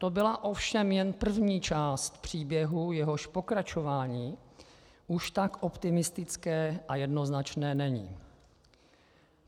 To byla ovšem jen první část příběhu, jehož pokračování už tak optimistické a jednoznačné není.